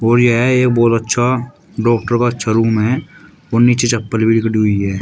और यह एक बहोत अच्छा डॉक्टर का अच्छा रूम है और नीचे चप्पल भी निकडी हुई है।